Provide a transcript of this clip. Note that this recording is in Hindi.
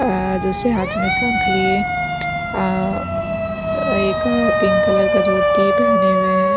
दूसरे हाथ में शंख लिए अ एक पिंक कलर का धोटी पहने हुए हैं।